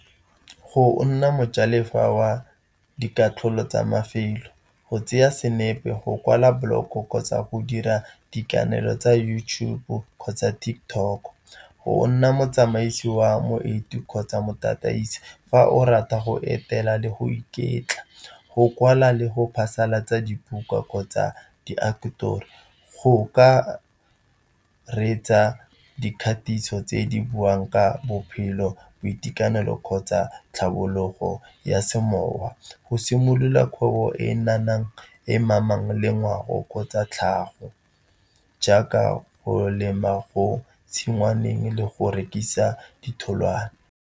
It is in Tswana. Go nna mojalefa wa dikatlholo tsa mafelo, go tseya senepe, go kwala boloko kgotsa go dira dikanelo tsa YouTube kgotsa TikTok. Go nna motsamaisi wa moeti kgotsa motataise, fa o rata go etela le go iketla, go kwala le go phasalatsa dibuka kgotsa diaketori, go ka ka reetsa dikgatiso tse di buang ka bophelo, boitekanelo kgotsa tlhabologo ya semowa. Go simolola kgwebo e e mamang le ngwao kgotsa tlhago jaaka go lema go tshingwaneng le go rekisa ditholwana.